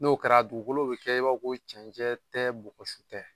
N'o kɛra dugukolo bɛ kɛ i b'a ko cɛncɛn tɛ bɔgɔsu tɛ